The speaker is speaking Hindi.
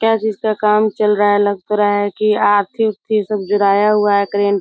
क्या चीज़ का काम चल रहा है लग तो रहा है कि अर्थिंग-उर्थिंग सब जुड़ाया हुआ है करंट --